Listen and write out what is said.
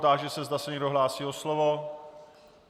Táži se, zda se někdo hlásí o slovo.